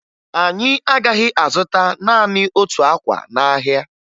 Anyị agaghị azụta naanị otu akwa n'ahịa